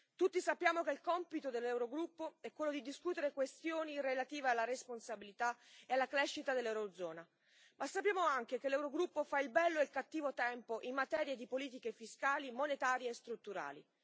Tutti sappiamo che il compito dell'Eurogruppo è quello di discutere questioni relative alla responsabilità e alla crescita dell'Eurozona, ma sappiamo anche che l'Eurogruppo fa il bello e il cattivo tempo in materia di politiche fiscali, monetarie e strutturali.